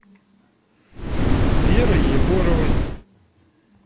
верой егоровой